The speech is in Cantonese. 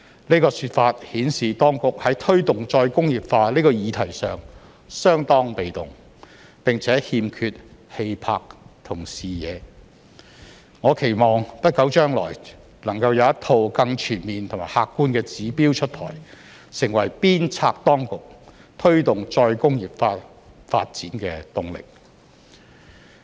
這個說法顯示當局在推動再工業化這個議題上相當被動，並且欠缺氣魄和視野，我期望不久將來能夠有一套更全面和客觀的指標出台，成為鞭策當局推動再工業化發展的動力。